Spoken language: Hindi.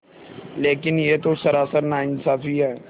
लेकिन यह तो सरासर नाइंसाफ़ी है